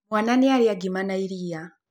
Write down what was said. Mwaana nĩ arĩa ngima na iria.